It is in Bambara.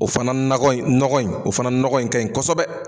O fana nakɔ in nɔgɔ in ,o fana nɔgɔ in ka ɲi kosɛbɛ.